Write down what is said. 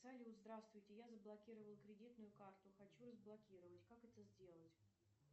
салют здравствуйте я заблокировала кредитную карту хочу разблокировать как это сделать